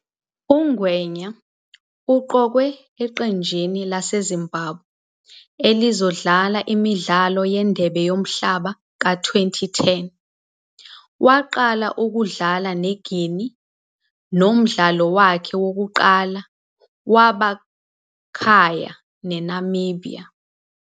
UNgwenya uqokwe eqenjini laseZimbabwe elizodlala imidlalo yeNdebe yoMhlaba ka-2010, waqala ukudlala neGuinea nomdlalo wakhe wokuqala wabakhaya neNamibia.